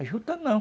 A juta não.